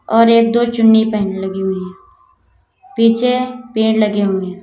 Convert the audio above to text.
और एक दो चुन्नी पहनने लगी हुई पीछे पेड़ लगे हुए हैं।